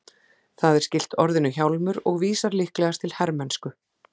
Það er skylt orðinu hjálmur og vísar líklegast til hermennsku.